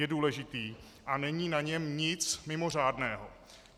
Je důležitý a není na něm nic mimořádného.